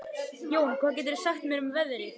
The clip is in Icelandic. Jón, hvað geturðu sagt mér um veðrið?